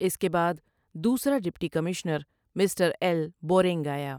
اس کے بعد دوسرا deputy commissioner mister L Boring آیا ۔